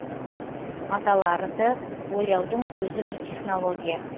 маталарды бояудың өзі бір технология